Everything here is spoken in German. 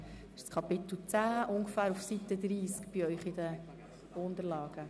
Wir debattieren über die Themenblöcke des Kapitels 10 ab ungefähr Seite 30 in Ihren Unterlagen.